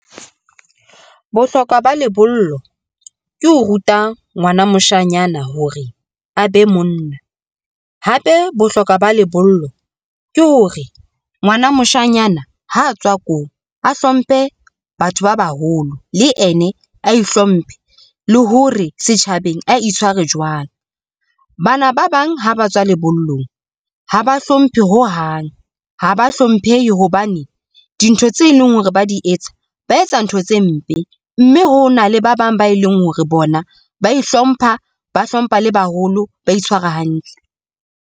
Bohlokwa ba lebollo ke ho ruta ngwana moshanyana hore a be monna, hape bohlokwa ba lebollo ke hore ngwana moshanyana ha a tswa ko a hlomphe batho ba baholo le ene a ihlomphe le hore setjhabeng a itshware jwang. Bana ba bang ha ba tswa lebollong ha ba hlomphe ho hang. Ha ba hlomphehi hobane dintho tse leng hore ba di etsa ba etsa ntho tse mpe mme hona le ba bang ba e leng hore bona ba ihlompha, ba hlompha le baholo ba itshwara hantle.